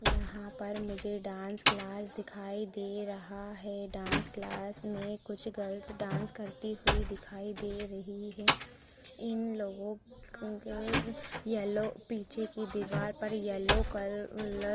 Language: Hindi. यहाँ पर मुझे डांस क्लास दिखाई दे रहा है डांस क्लास मे कुछ गर्ल्स डांस करती हुई दिखाई दे रही है इन लोगों को येलो पीछे की दिवार पर येलो क कलर --